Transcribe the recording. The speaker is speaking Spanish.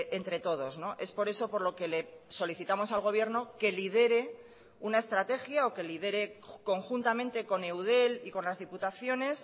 entre todos es por eso por lo que le solicitamos al gobierno que lidere una estrategia o que lidere conjuntamente con eudel y con las diputaciones